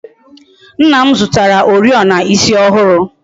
Nna m zụtara Oriọna ịsị ọhụrụ